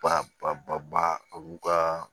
Ba ba ba ba ba olu ka